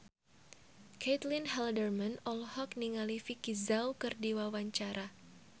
Caitlin Halderman olohok ningali Vicki Zao keur diwawancara